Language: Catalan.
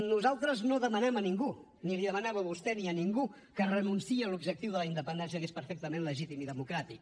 nosaltres no demanem a ningú no li demanava a vostè ni a ningú que renunciï a l’objectiu de la independència que es perfectament legítim i democràtic